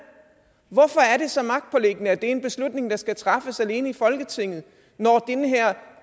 hvorfor er det så magtpåliggende at det er en beslutning der skal træffes alene i folketinget når